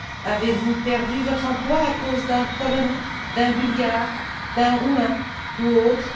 Avez vous perdu votre emploi à cause d'un Polonais, d'un Bulgare, d'un Roumain ou autre?